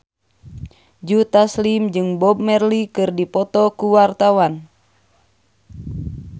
Joe Taslim jeung Bob Marley keur dipoto ku wartawan